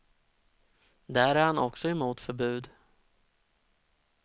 Där är han också emot förbud.